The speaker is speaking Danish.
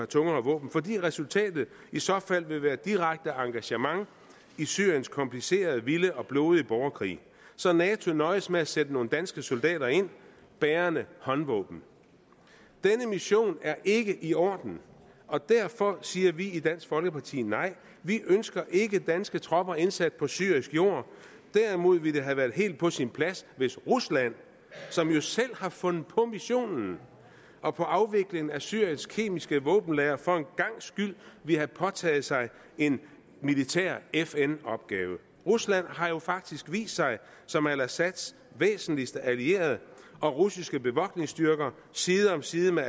tungere våben fordi resultatet i så fald vil være direkte engagement i syriens komplicerede vilde og blodige borgerkrig så nato nøjes med at sætte nogle danske soldater ind bærende håndvåben denne mission er ikke i orden og derfor siger vi i dansk folkeparti nej vi ønsker ikke danske tropper indsat på syrisk jord derimod ville det have været helt på sin plads hvis rusland som jo selv har fundet på missionen og på afviklingen af syriens kemiske våbenlagre for en gangs skyld ville have påtaget sig en militær fn opgave rusland har jo faktisk vist sig som al assads væsentligste allierede og russiske bevogtningsstyrker side om side med